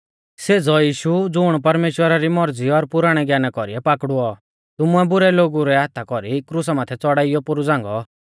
सेज़ौ यीशु ज़ुण परमेश्‍वरा री मौरज़ी और पुराणै ज्ञाना कौरीऐ पाकड़ुऔ तुमुऐ बुरै लोगु रै हाथा कौरी क्रुसा माथै च़ौड़ाइयौ पोरु झ़ांगौ